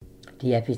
DR P3